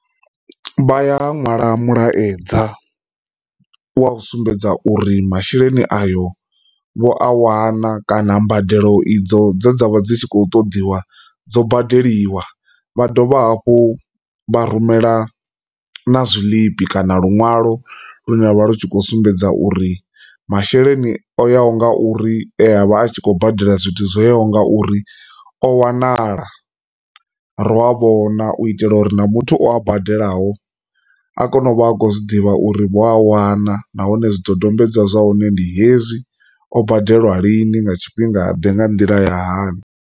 Vha ya ṅwala mulaedza u sumbedza uri masheleni ayo vho a wana kana mbadelo idzo dze dza vha dzi tshi khou ṱoḓiwa dzo badeliwa vha dovha hafhu vha rumela na zwiḽipi kana luṅwalo lune vha lu tshi kho sumbedza uri masheleni o yaho nga uri vha a tshi khou badela zwithu zwoyaho nga uri o wanala, u itela uri na muthu o badelaho a kone u vha a khou zwi ḓivha uri vho a wana nahone zwidodombedzwa zwa hone ndi hezwi o badelwa lini nga tshifhinga ḓe nga nḓila ya hani.